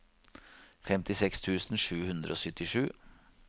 femtiseks tusen sju hundre og syttisju